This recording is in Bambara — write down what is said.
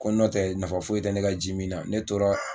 Ko n'o tɛ nafa foyi tɛ ne ka jimin na ne tora